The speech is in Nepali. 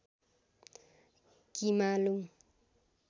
किमालुङ